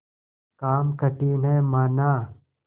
काम कठिन हैमाना